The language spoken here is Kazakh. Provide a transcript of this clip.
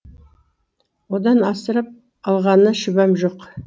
одан асырып алғаны шүбәм жоқ